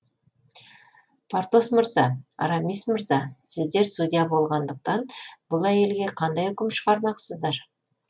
портос мырза арамис мырза сіздер судья болғандықтан бұл әйелге қандай үкім шығармақсыздар